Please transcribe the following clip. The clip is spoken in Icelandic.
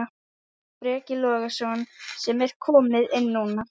Breki Logason: Sem er komið inn núna?